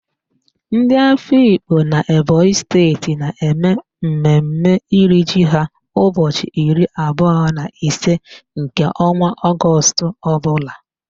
Ndị Afikpo n'Ebonyi steeti na-eme mmemme iri ji ha ụbọchị iri abụọ na ise nke ọnwa Ọgọọst ọbụla